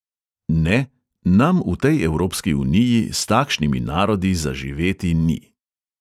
Ne, nam v tej evropski uniji s takšnimi narodi za živeti ni.